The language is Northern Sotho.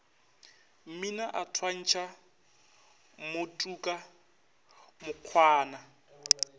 mmina a thwantšha mmotuka mokgwana